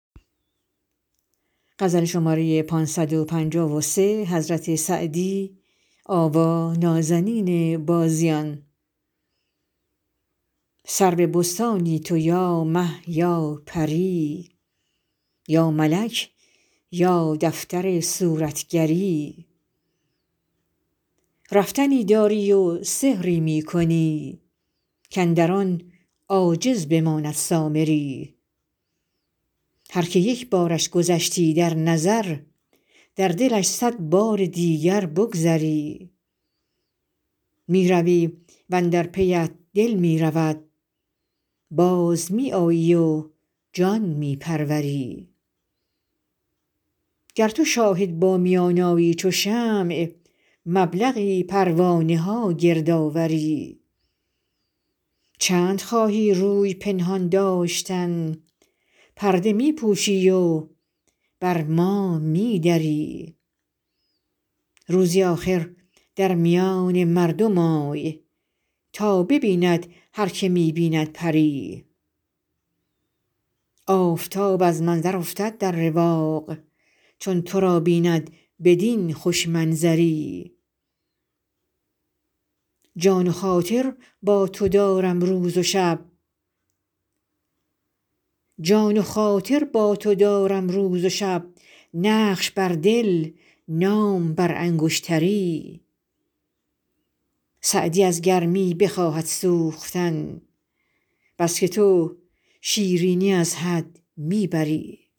سرو بستانی تو یا مه یا پری یا ملک یا دفتر صورتگری رفتنی داری و سحری می کنی کاندر آن عاجز بماند سامری هر که یک بارش گذشتی در نظر در دلش صد بار دیگر بگذری می روی و اندر پیت دل می رود باز می آیی و جان می پروری گر تو شاهد با میان آیی چو شمع مبلغی پروانه ها گرد آوری چند خواهی روی پنهان داشتن پرده می پوشی و بر ما می دری روزی آخر در میان مردم آی تا ببیند هر که می بیند پری آفتاب از منظر افتد در رواق چون تو را بیند بدین خوش منظری جان و خاطر با تو دارم روز و شب نقش بر دل نام بر انگشتری سعدی از گرمی بخواهد سوختن بس که تو شیرینی از حد می بری